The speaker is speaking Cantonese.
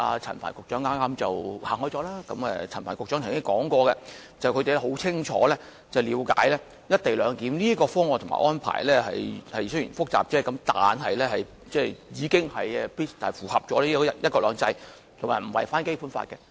陳帆局長剛才提到他們很清楚了解"一地兩檢"方案及安排雖然複雜，但亦已符合"一國兩制"及不會違反《基本法》。